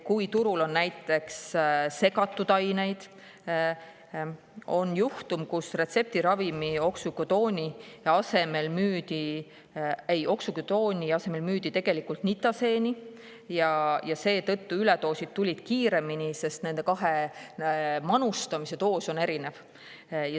Turul on näiteks segatud aineid ja on teada juhtum, kus retseptiravimi oksükodooni asemel müüdi tegelikult nitaseeni ja seetõttu üledoosid tulid kiiremini, sest nende kahe manustamise doos on erinev.